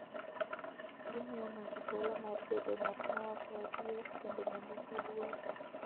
Gimiyo ng'ato thuolo mar bedo ng'at ma wacho adier kendo ma nigi luor.